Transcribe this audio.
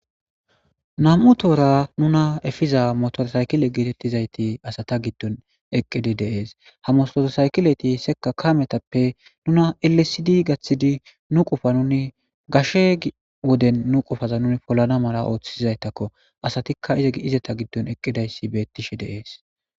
Nam'u toora nuna efiza motosaykilete getetizayti asata gidon eqidi de'ese ha motorsaykileti sekka kametappe nun elesidi gathidi nu qofa nun gashe Woden nu qofaza nu polanna mala othizaytakko asatikka ezeta gidon eqidi dizaysa betishe de'ese